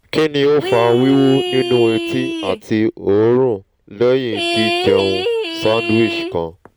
kini o fa wiwu ninu eti ati orun lehin ji jeun sandwich kan?